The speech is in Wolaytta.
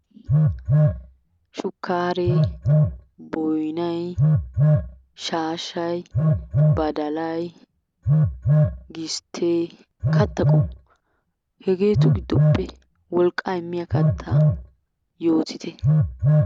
Shukkaaree, boyinay, shaashshay, badalay, gisttee katta qommo. Hegeetu gidoppe wolqqaa immiya kattaa yootite.